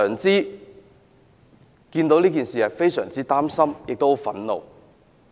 因為市民非常擔心和憤怒。